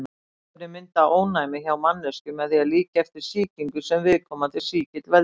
Bóluefni mynda ónæmi hjá manneskju með því að líkja eftir sýkingu sem viðkomandi sýkill veldur.